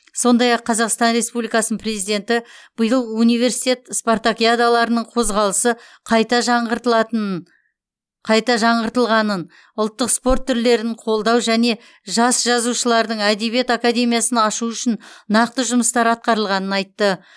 сондай ақ қазақстан республикасының президенті биыл университет спартакиадаларының қозғалысы қайта жаңғыртылғанын ұлттық спорт түрлерін қолдау және жас жазушылардың әдебиет академиясын ашу үшін нақты жұмыстар атқарылғанын айтты